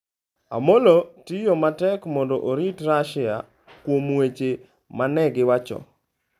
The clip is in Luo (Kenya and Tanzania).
Amollo tiyo matek mondo orit Russia kuom weche ma ne giwacho .